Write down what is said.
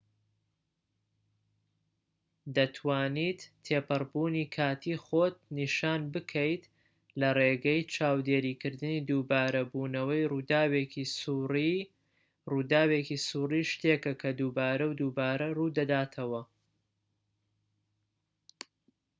دەتوانیت تێپەڕبوونی کاتی خۆت نیشان بکەیت لە ڕێگەی چاودێریکردنی دووبارە بوونەوەی ڕووداوێکی سووڕیی ڕووداوێکی سووڕیی شتێکە کە دووبارە و دووبارە ڕوودەداتەوە